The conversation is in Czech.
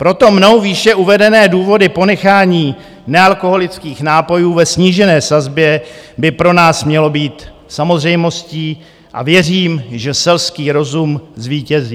Proto mnou výše uvedené důvody ponechání nealkoholických nápojů ve snížené sazbě by pro nás mělo být samozřejmostí a věřím, že selský rozum zvítězí.